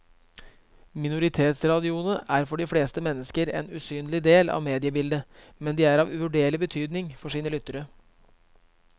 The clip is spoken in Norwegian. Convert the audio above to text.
Minoritetsradioene er for de fleste mennesker en usynlig del av mediebildet, men de er av uvurderlig betydning for sine lyttere.